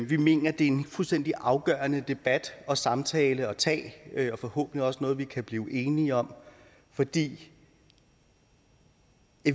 vi mener det er en fuldstændig afgørende debat og samtale at tage og forhåbentlig også noget vi kan blive enige om fordi